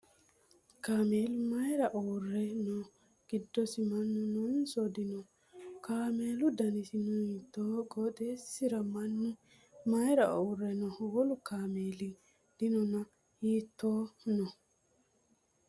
Kaamelu mayiira uurre no? Giddosi mannu noonso dino? Kaamelu danasino hiittoho? Qooxesisira mannu mayiira uurre no? Wolu kaamelino Dana hiittohu no?